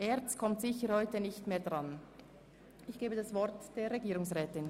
Er kommt aber heute kaum noch an die Reihe.